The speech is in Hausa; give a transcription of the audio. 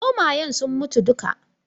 Zomayen sun mutu dukka.